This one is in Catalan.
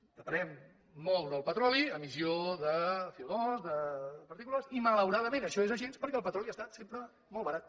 depenent molt del petroli emissió de coles i malauradament això és així perquè el petroli ha estat sempre molt barat